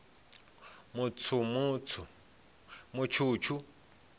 mutshutshu